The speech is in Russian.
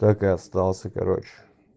так и остался короче